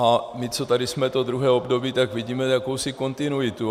A my, co tady jsme to druhé období, tak vidíme jakousi kontinuitu.